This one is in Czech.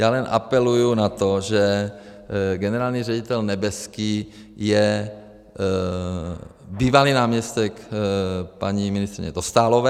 Já jenom apeluji na to, že generální ředitel Nebeský je bývalý náměstek paní ministryně Dostálové.